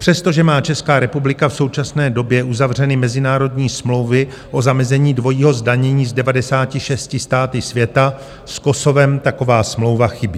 Přestože má Česká republika v současné době uzavřeny mezinárodní smlouvy o zamezení dvojímu zdanění s 96 státy světa, s Kosovem taková smlouva chybí.